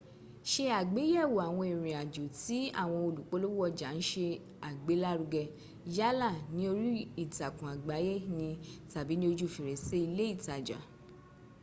ṣe àgbéyẹ̀wò àwọn ìrìnàjò tí awọn olùpolówó ọjà ń se àgbélárugẹ yálà ní orí ìtàkùn àgbáyé ni tàbí ní ojú fèrèsè ilé ìtajà